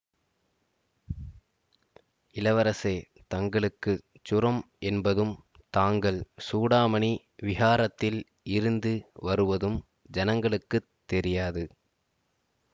இளவரசே தங்களுக்கு சுரம் என்பதும் தாங்கள் சூடாமணி விஹாரத்தில் இருந்து வருவதும் ஜனங்களுக்கு தெரியாது